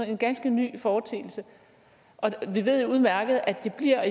en ganske ny foreteelse vi ved jo udmærket at det bliver